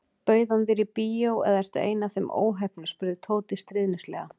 Bauð hann þér í bíó eða ertu ein af þeim óheppnu spurði Tóti stríðnislega.